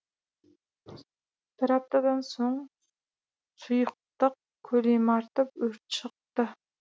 бір аптадан соң сұйықтық көлемі артып өрт шықты